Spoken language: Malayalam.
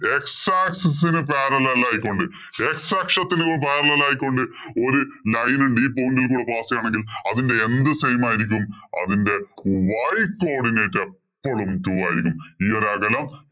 x axis ഇന് parallel ആയികൊണ്ട്‌ x അക്ഷത്തിനു parallel ആയികൊണ്ട്‌ ഒരു line ഉണ്ട്. ഈ point ഇല്‍ കൂടി pass ചെയ്യണമെങ്കില്‍ അതിന്‍റെ എന്ത് same ആയിരിക്കും. അതിന്‍റെ y codinate എപ്പോളും two ആയിരിക്കും.